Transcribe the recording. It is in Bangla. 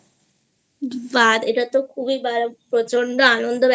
বা এটা র খুব ভালো প্রচন্ড আনন্দ হবে